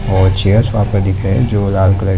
और चेयर्स वहां पर दिख रहे हैं जो लाल कलर --